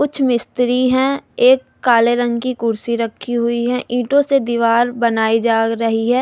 कुछ मिस्त्री हैं एक काले रंग की कुर्सी रखी हुई है ईंटों से दीवार बनाई जा रही है।